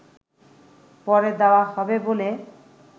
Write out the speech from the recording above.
পরে দেয়া হবে বলে